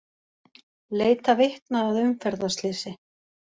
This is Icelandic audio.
Leita vitna að umferðarslysi